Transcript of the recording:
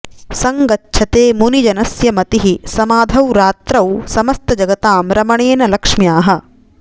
सङ्गच्छते मुनिजनस्य मतिः समाधौ रात्रौ समस्तजगतां रमणेन लक्ष्म्याः